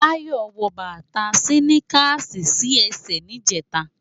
Bayo wò bata siniká si èsè nijètá